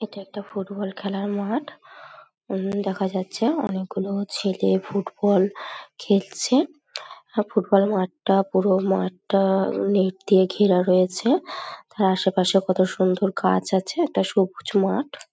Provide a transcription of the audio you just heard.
এটা একটা ফুটবল খেলার মাঠ | এখানে দেখা যাচ্ছে অনেকগুলো ছেলে ফুটবল খেলছে আর ফুটবল মাঠটা পুরো মাঠটা নেট দিয়ে ঘেরা রয়েছে | তার আশেপাশে কতসুন্দর গাছ আছে একটা সবুজ মাঠ।